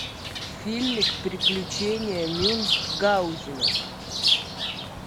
фильмик приключения мюнхгаузена